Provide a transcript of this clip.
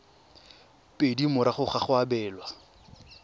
pedi morago ga go abelwa